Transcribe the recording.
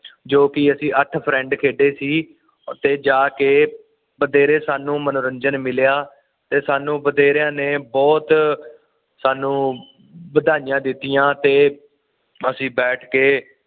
ਜੋ ਕਿ ਅਸੀਂ ਅੱਠ ਫਰਿੰਡ ਖੇਡੇ ਸੀ ਉਥੇ ਜਾ ਕੇ ਬਥੇਰੇ ਸਾਨੂੰ ਮਨੋਰੰਜਨ ਮਿਲਿਆ ਤੇ ਸਾਨੂੰ ਬਥੇਰਿਆਂ ਨੇ ਬੁਹਤ ਸਾਨੂੰ ਵਧਾਈਆਂ ਦਿੱਤੀਆਂ ਤੇ ਅਸੀਂ ਬੈਠ ਕੇ